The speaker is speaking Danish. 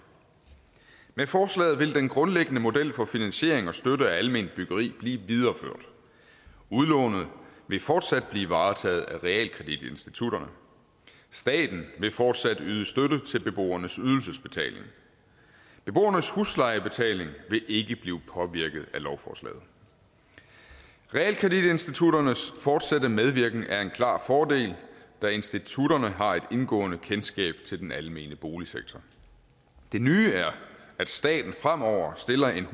med forslaget vil den grundlæggende model for finansiering og støtte af alment byggeri blive videreført udlånet vil fortsat blive varetaget af realkreditinstitutterne staten vil fortsat yde støtte til beboernes ydelsesbetaling beboernes huslejebetaling vil ikke blive påvirket af lovforslaget realkreditinstitutternes fortsatte medvirken er en klar fordel da institutterne har et indgående kendskab til den almene boligsektor det nye er at staten fremover stiller en